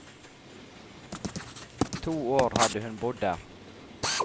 To år hadde hun bodd der.